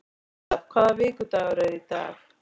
Gustav, hvaða vikudagur er í dag?